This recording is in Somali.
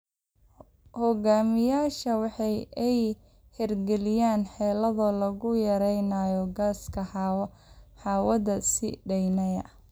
Hoggaamiyeyaashu waa in ay hirgeliyaan xeelado lagu yareynayo gaaska hawada sii deynaya.